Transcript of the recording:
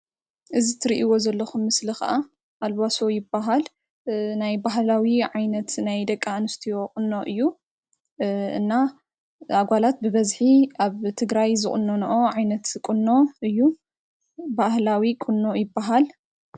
እዚ እትሪእዎ ዘለኩም ምስሊ ከዓ አልቧሶ ይበሃል። ናይ ባህላዊ ዓይነት ናይ ደቂ ኣንስትዮ ቍኖ እዩ። እና አጓላት ብበዝሒ አብ ትግራይ ዝቍነንኦ ዓይነት ቍኖ እዩ። ባህላዊ ቍኖ ይበሃል።